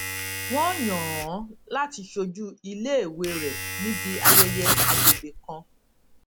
wọn yàn án láti ṣojú iléèwé rẹ níbi ayẹyẹ àgbègbè kan